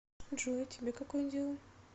джой а тебе какое дело